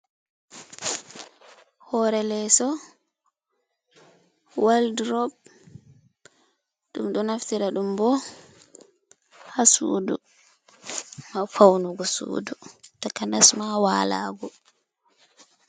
Hore leso waldrob, dum do naftira dum bo ha sudu ma faunugo sudu taka nasma walago.